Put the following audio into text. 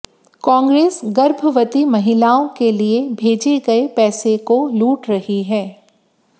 कांग्रेस गर्भवती महिलाओं के लिए भेजे गये पैसे को लूट रही है